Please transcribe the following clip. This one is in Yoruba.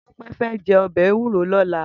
Tope fè jè òbè éwúró lòlá